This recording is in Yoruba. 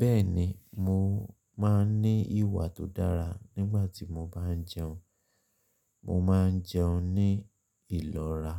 Bẹ́ẹ̀ni, mo máa ń ní ìwà tó dára nígbàtí mo bá jẹun. Mo máa ń jẹun ní ìlera,